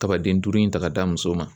Kabaden duuru in ta ka d'a muso ma.